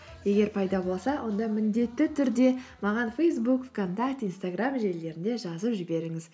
егер пайда болса онда міндетті түрде маған фейсбук вконтакте инстаграм желілерінде жазып жіберіңіз